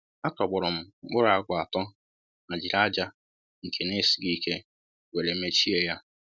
A tọgbọrọm m mkpụrụ àgwà atọ ma jiri aja nke n'esighi ike wéré mechie ya